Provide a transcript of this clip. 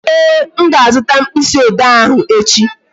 Ee, m ga-azuta mkpịsị ode ahụ echi